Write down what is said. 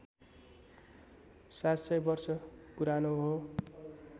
७०० वर्ष पुरानो हो